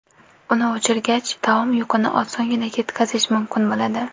Uni o‘chirgach taom yuqini osongina ketkazish mumkin bo‘ladi.